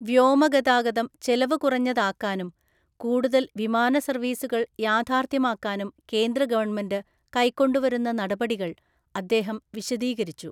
വ്യോമഗതാഗതം ചെലവുകുറഞ്ഞതാക്കാനും കൂടുതല്‍ വിമാന സര്‍വീസുകള്‍ യാഥാർഥ്യമാക്കാനും കേന്ദ്ര ഗവണ്മെന്റ് കൈക്കൊണ്ടുവരുന്ന നടപടികള്‍ അദ്ദേഹം വിശദീകരിച്ചു.